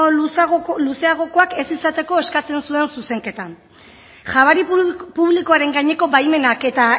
luzeagokoak ez izateko eskatzen zuen zuzenketan jabari publikoaren gaineko baimenak eta